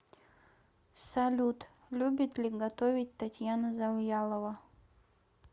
салют любит ли готовить татьяна завьялова